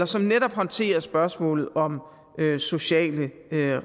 som netop håndterer spørgsmålet om sociale